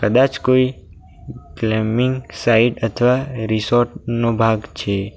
કદાચ કોઈ ક્લેમિંગ સાઇડ અથવા રિસોર્ટ નો ભાગ છે.